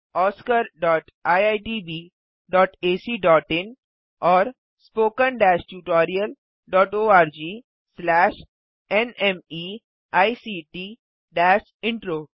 oscariitbacइन और spoken tutorialorgnmeict intro